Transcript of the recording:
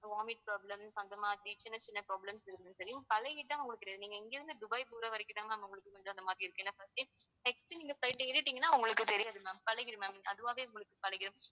vomit problems அந்தமாதிரி சின்ன சின்ன problems பழகிட்டா உங்களுக்கு நீங்க இங்கிருந்து துபாயிக்குள்ள வரைக்கும்தான் உங்களுக்கு இந்தமாதிரி இருக்கும் ஏன்னா next நீங்க flight ஏறிட்டிங்கன்னா உங்களுக்கு தெரியாது ma'am பழகிடும் ma'am அதுவாவே உங்களுக்கு பழகிடும்.